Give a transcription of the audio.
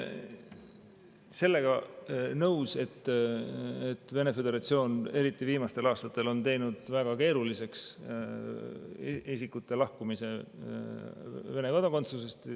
Sellega olen nõus, et Vene föderatsioon on eriti viimastel aastatel teinud väga keeruliseks isikute lahkumise Vene kodakondsusest.